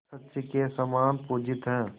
शची के समान पूजित हैं